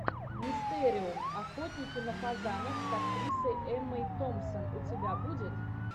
мистериум охотники на фазанов с актрисой эммой томпсон у тебя будет